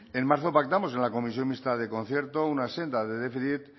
en marzo pactamos en la comisión mixta de concierto una senda de déficit